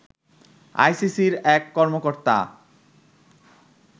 আইসিসির এক কর্মকর্তা